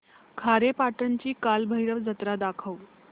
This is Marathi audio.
खारेपाटण ची कालभैरव जत्रा दाखवच